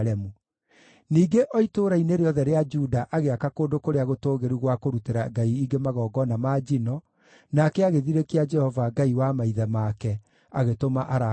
Ningĩ o itũũra-inĩ rĩothe rĩa Juda agĩaka kũndũ kũrĩa gũtũũgĩru gwa kũrutĩra ngai ingĩ magongona ma njino, nake agĩthirĩkia Jehova, Ngai wa maithe make, agĩtũma arakare.